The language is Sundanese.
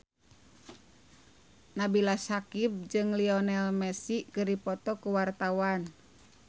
Nabila Syakieb jeung Lionel Messi keur dipoto ku wartawan